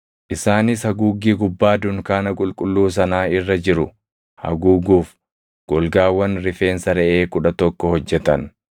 Isaanis haguuggii gubbaa dunkaana qulqulluu sanaa irra jiru haguuguuf golgaawwan rifeensa reʼee kudha tokko hojjetan.